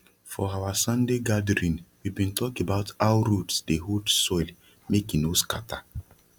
for our sunday gathering we bin talk about how roots dey hold soil make e no scata